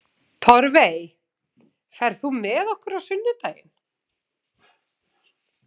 Torfey, ferð þú með okkur á sunnudaginn?